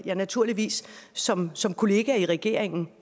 jeg naturligvis som som kollega i regeringen